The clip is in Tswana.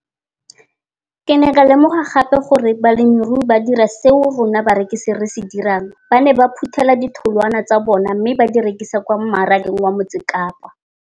Ke ne ka lemoga gape gore balemirui ba dira seo rona barekisi re se dirang, ba ne ba phuthela ditholwana tsa bona mme ba di rekisa kwa marakeng wa Motsekapa.